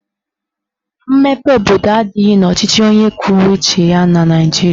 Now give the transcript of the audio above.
Mmepe obodo adịghị n'ọchịchị onye kwuo uche ya na Naijiria